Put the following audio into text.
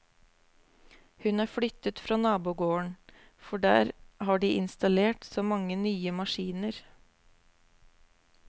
Hun er flyttet fra nabogården, for der har de installert så mange nye maskiner.